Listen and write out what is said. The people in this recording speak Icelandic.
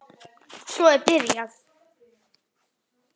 Svo er byrjað.